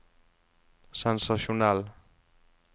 sensasjonell